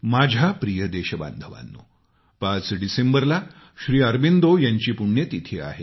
माझ्या प्रिय देशबांधवांनो पाच डिसेंबरला श्री अरविंदो यांची पुण्यतिथी आहे